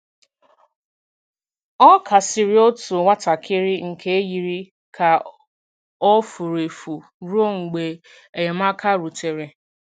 Ọ kasiri otu nwatakịrị nke yiri ka ọ furu efu ruo mgbe enyemaka rutere.